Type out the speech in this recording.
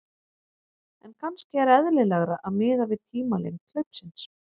En kannski er eðlilegra að miða við tímalengd hlaupsins.